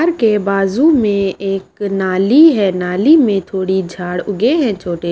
घर के बाजू में एक नाली है नाली में थोड़ी झाड़ उगे है छोटे।